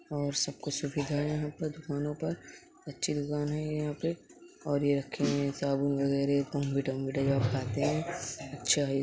और सब कुछ सुविधाए हैं। यहाँ पर दुकानो पर अच्छी दुकान है। ये यहाँ पे और ये रखी है साबुन वगैरह मिठाई वगैरह आप खाते हैं अच्छा है।